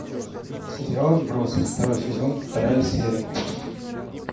сериал отбросы второй сезон вторая серия